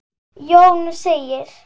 Jón segir